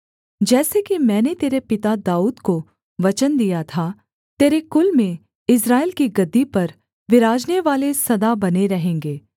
जैसे कि मैंने तेरे पिता दाऊद को वचन दिया था तेरे कुल में इस्राएल की गद्दी पर विराजनेवाले सदा बने रहेंगे